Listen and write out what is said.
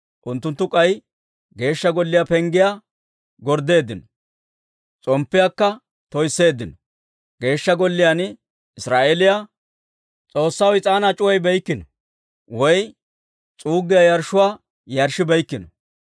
Unttunttu k'ay Geeshsha Golliyaa penggetuwaa gorddeeddino; s'omppiyaakka toysseeddino. Geeshsha Golliyaan Israa'eeliyaa S'oossaw is'aanaa c'uwayibeykkino, woy s'uuggiyaa yarshshuwaa yarshshibeykkino.